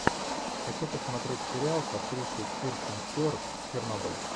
хочу посмотреть сериал с актрисой кирстен стюарт чернобыль